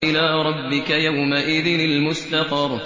إِلَىٰ رَبِّكَ يَوْمَئِذٍ الْمُسْتَقَرُّ